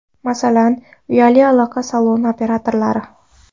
Masalan, uyali aloqa saloni operatorlari.